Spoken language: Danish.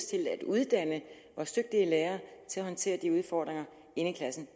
til at uddanne vores dygtige lærere til at håndtere de udfordringer i klassen